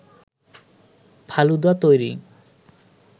ফালুদা তৈরি